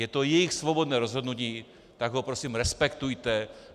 Je to jejich svobodné rozhodnutí, tak ho prosím respektujte.